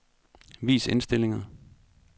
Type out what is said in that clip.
Vis indstillinger.